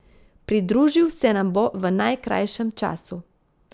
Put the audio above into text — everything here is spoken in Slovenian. Pridružil se nam bo v najkrajšem času.